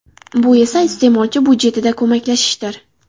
Bu esa iste’molchi budjetida ko‘maklashishdir.